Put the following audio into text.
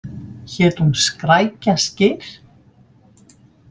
Hét hún Skrækja Skyr?